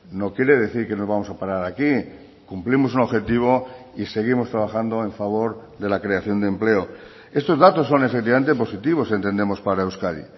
no quiere decir que nos vamos a parar aquí cumplimos un objetivo y seguimos trabajando en favor de la creación de empleo estos datos son efectivamente positivos entendemos para euskadi